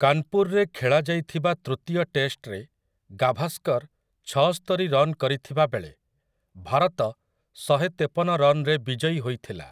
କାନ୍‌ପୁର୍‌ରେ ଖେଳାଯାଇଥିବା ତୃତୀୟ ଟେଷ୍ଟରେ ଗାଭାସ୍କର୍ ଛଅସ୍ତରି ରନ୍ କରିଥିବା ବେଳେ ଭାରତ ଶହେତେପନ ରନ୍‌ରେ ବିଜୟୀ ହୋଇଥିଲା ।